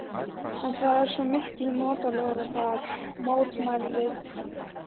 En það er svo miklu notalegra þar, mótmælum við.